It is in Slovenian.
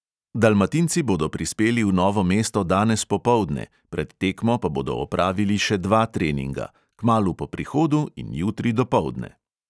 Dalmatinci bodo prispeli v novo mesto danes popoldne, pred tekmo pa bodo opravili še dva treninga; kmalu po prihodu in jutri dopoldne.